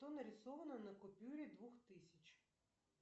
что нарисовано на купюре двух тысяч